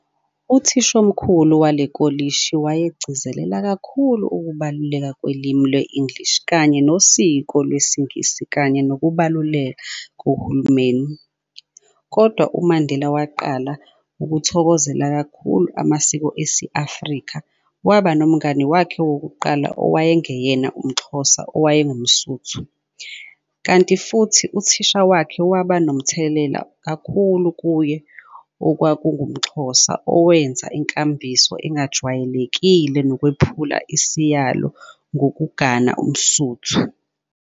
Utshishomkhulu wale kholishi wayegcizelela kakhulu ukubaluleka kolimi lwe-English kanye nosiko lwesiNgisi kanye nokubaluleka kohulumeni, kodwa uMandela waqala ukuthokozela kakhulu amasiko esi-Afrika, waba nomngani wakhe wokuqala owayengeyena uMxhosa, owayengumSuthu, kanti futhi, uthisha wakhe waba nomthelela kakhulu kuye, okwakungumXhosa owenza inkambiso engajwayelekile nokwephula isiyilo ngokugana umSuthu.